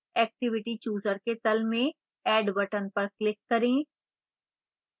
activity chooser के तल में add button पर click करें